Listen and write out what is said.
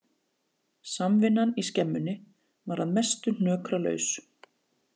Samvinnan í skemmunni var að mestu hnökralaus